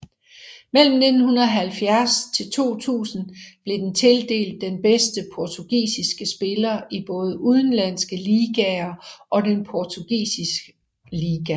Mellem 1970 til 2000 blev den tildelt den bedste portugisiske spiller i både udenlandske ligaer og den portugisiske liga